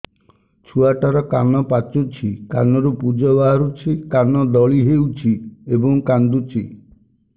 ଛୁଆ ଟା ର କାନ ପାଚୁଛି କାନରୁ ପୂଜ ବାହାରୁଛି କାନ ଦଳି ହେଉଛି ଏବଂ କାନ୍ଦୁଚି